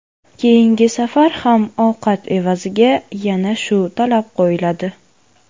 Keyingi safar ham ovqat evaziga yana shu talab qo‘yiladi.